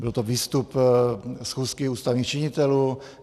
Byl to výstup schůzky ústavních činitelů.